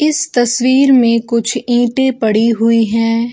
इस तस्वीर मे कुछ ईटे पड़ी हुई हैं।